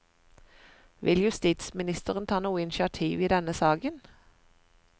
Vil justisministeren ta noe initiativ i denne saken?